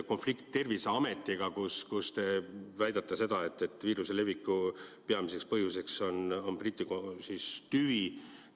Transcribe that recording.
Konflikt Terviseametiga, kus te väidate seda, et viiruse leviku peamiseks põhjuseks on Briti tüvi.